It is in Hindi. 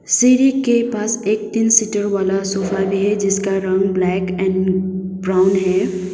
सिरी के पास एक तीन सीटर वाला सोफा भी है जिसका रंग ब्लैक एंड ब्राउन हैं।